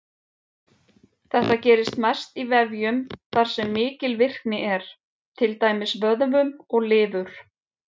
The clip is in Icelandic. Þetta gerist mest í vefjum þar sem mikil virkni er, til dæmis vöðvum og lifur.